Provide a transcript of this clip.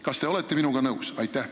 Kas te olete minuga nõus?